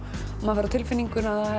maður fær á tilfinninguna